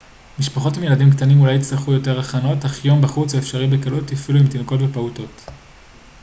משפחות עם ילדים קטנים אולי יצטרכו יותר הכנות אך יום בחוץ הוא אפשרי בקלות אפילו עם תינוקות ופעוטות